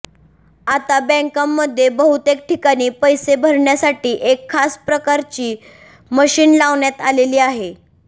आता बँकांमध्ये बहुतेक ठिकाणी पैसे भरण्यासाठी एक खास प्रकारची मशीन लावण्यात आलेली आहे